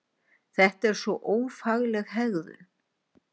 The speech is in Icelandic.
Þetta er svo ófagleg hegðun!